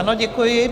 Ano, děkuji.